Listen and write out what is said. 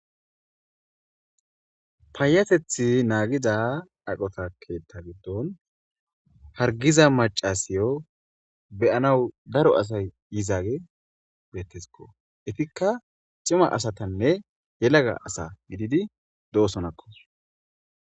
paayatethi naagiza ayqota keetta giddon hargiza macasiyo beyanaw daro asay yizaage beettesikko etikka cima asatanne yelaga asa gididi de'osonna.